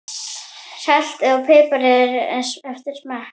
Saltið og piprið eftir smekk.